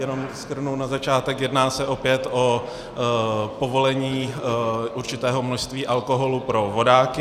Jenom shrnu na začátek, jedná se opět o povolení určitého množství alkoholu pro vodáky.